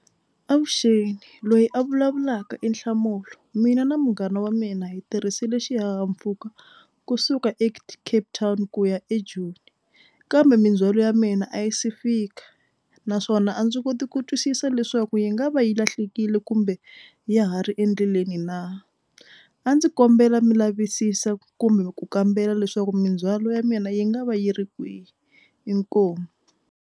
Avuxeni loyi a vulavulaka i Nhlamulo mina na munghana wa mina yi tirhisile xihahampfhuka kusuka Cape Town ku ya eJoni kambe mindzhwalo ya mina a yi se fika naswona a ndzi koti ku twisisa leswaku yi nga va yi lahlekile kumbe ya ha ri endleleni na. A ndzi kombela mi lavisisa kumbe ku kambela leswaku mindzhwalo ya mina yi nga va yi ri kwihi inkomu.